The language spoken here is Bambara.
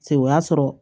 Se o y'a sɔrɔ